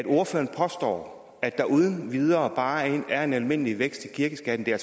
ordføreren påstår at der uden videre bare er en almindelig vækst i kirkeskatten det er